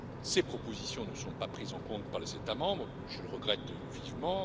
Ces propositions ne sont pas prises en compte par les États membres, je le regrette vivement.